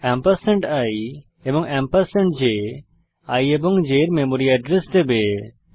ampersand i এবং ampersand J i এবং j এর মেমরি এড্রেস দেবে